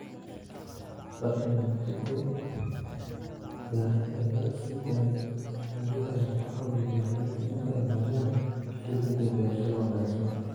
Barnaamijyada beeraha ee laga sii daayo raadiyaha ayaa ka caawiya beeralayda inay ogaadaan xilliyada beerashada wanaagsan.